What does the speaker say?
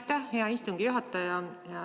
Aitäh, hea istungi juhataja!